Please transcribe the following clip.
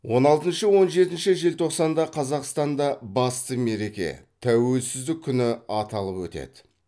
он алтыншы он жетінші желтоқсанда қазақстанда басты мереке тәуелсіздік күні аталып өтеді